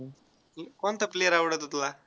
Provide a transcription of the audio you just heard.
कोणता player आवडतो तुला?